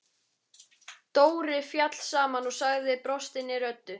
Dóri féll saman og sagði brostinni röddu: